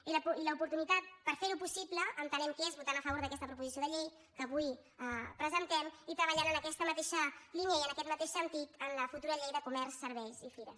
i l’oportunitat per fer ho possible entenem que és votant a favor d’aquesta proposició de llei que avui presentem i treballant en aquesta mateixa línia i en aquest mateix sentit en la futura llei de comerç serveis i fires